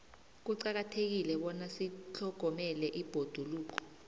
kuqakathekile bona sitlhogomele ibhoduluko